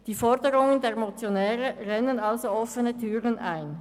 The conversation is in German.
Die Forderungen der Motionäre rennen offene Türen ein.